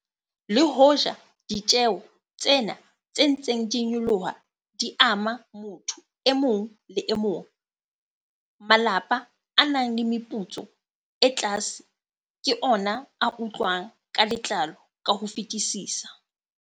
Le hoja ditjeho tsena tse ntseng di nyoloha di ama motho e mong le e mong, malapa a nang le meputso e tlase ke ona a utlwang ka letlalo ka ho fetisisa.